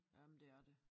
Ja men det er det